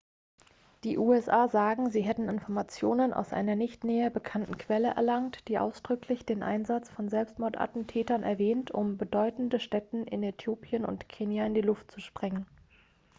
"die usa sagen sie hätten informationen aus einer nicht näher benannten quelle erlangt die ausdrücklich den einsatz von selbstmordattentätern erwähnt um "bedeutende stätten" in äthiopien und kenia in die luft zu sprengen.